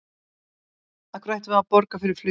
Af hverju ættum við að borga fyrir flugið?